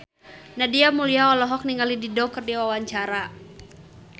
Nadia Mulya olohok ningali Dido keur diwawancara